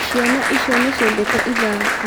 Ciana icio nĩciendete ithako